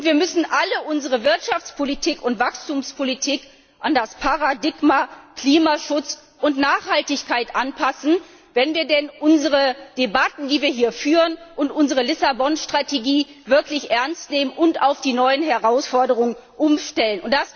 Wir müssen unsere gesamte Wirtschaftspolitik und Wachstumspolitik an das Paradigma Klimaschutz und Nachhaltigkeit anpassen, wenn wir denn unsere Debatten, die wir hier führen, und unsere Lissabon Strategie wirklich ernst nehmen und auf die neuen Herausforderungen umstellen.